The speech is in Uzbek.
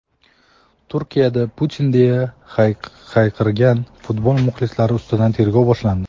Turkiyada "Putin" deya hayqirgan futbol muxlislari ustidan tergov boshlandi.